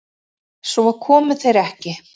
Svo komu þeir ekki.